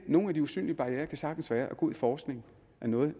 nogle af de usynlige barrierer kan sagtens være at god forskning er noget